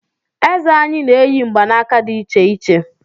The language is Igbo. Eze anyị na-eyi mgbanaka di icheiche